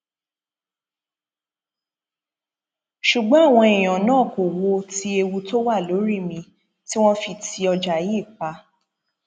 ṣùgbọn àwọn èèyàn náà kò wo ti ewu tó wà lórí mi tí wọn fi ti ọjà yìí pa